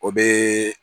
O bɛ